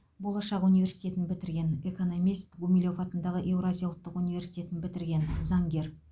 болашақ университетін бітірген экономист гумилев атындағы еуразия ұлттық университетін бітірген заңгер